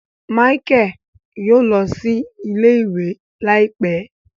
Michael yóò lọ sí ilé-ìwé láìpé